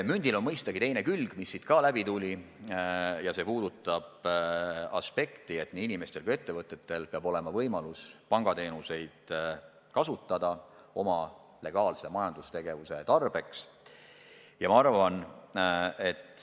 Mündil on mõistagi ka teine külg, mis siingi kõneks tuli, ja see puudutab aspekti, et nii inimestel kui ka ettevõtetel peab olema võimalus oma legaalse majandustegevuse tarbeks pangateenuseid kasutada.